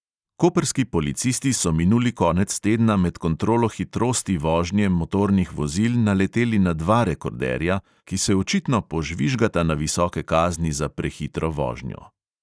Koprski policisti so minuli konec tedna med kontrolo hitrosti vožnje motornih vozil naleteli na dva rekorderja, ki se očitno požvižgata na visoke kazni za prehitro vožnjo.